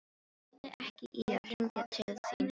Hann lagði ekki í að hringja til þín sjálfur.